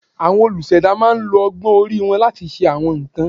Àwọn olùṣẹ̀dá máa ń lo ọgbọ́n orí wọn láti ṣe àwọn nǹkan